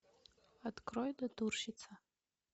открой натурщица